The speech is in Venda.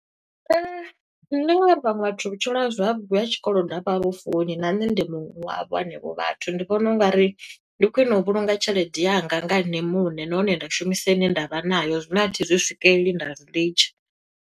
Ndi ngo uri vhaṅwe vhathu vhutshilo zwavhuḓi ha tshikolodo a vha vhu funi, na nṋe ndi muṅwe wa havho hanevho vhathu. Ndi vhona ungari ndi khwiṋe u vhulunga tshelede yanga nga ene muṋe. Nahone nda shumisa ine ndavha nayo, zwine a thi zwi swikeleli nda zwi litsha.